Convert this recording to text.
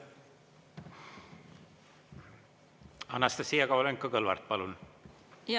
Anastassia Kovalenko-Kõlvart, palun!